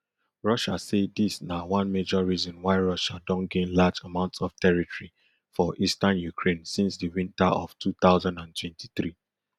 rusi say dis na one major reason why russia don gain large amounts of territory for eastern ukraine since di winter of two thousand and twenty-three